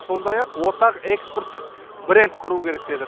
сондай ақ ортақ экспорттық бренд құру керек деді